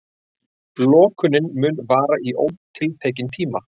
Lokunin mun vara í ótiltekinn tíma